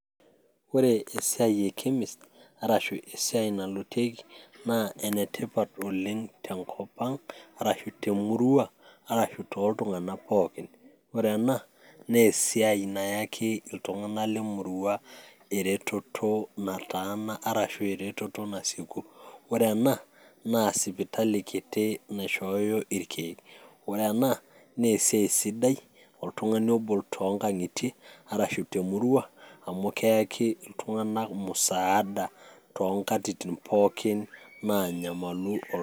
ore esiai e chemist arashu esiai naloitieki. naa ene tipat oleng tenkop ang',arashu temurua, arashu tooltunganak pookin, ore ana naa esiai nayaki iltungana lemurua, eretoto nataana arashu eretoto nasieku, ore ena naa sipitali kiti naishooyo irkeek, ore ena naa esiai sidai toltungani ogol tii nkang'itie ashu temurua amu keyaki iltunganak musaada too nkatitin pookin naanyamalu ooltungani.